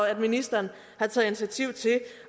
at ministeren har taget initiativ til